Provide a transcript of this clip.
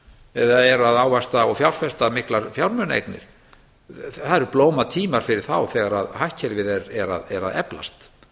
eða eru að ávaxta og fjárfesta miklar fjármunaeignir það eru blómatímar fyrir þá þegar hagkerfið er að eflast